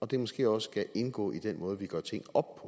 det måske også skal indgå i den måde vi gør ting op